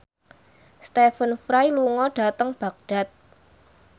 Stephen Fry lunga dhateng Baghdad